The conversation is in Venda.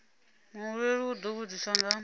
muhumbeli u ḓo vhudziswa nga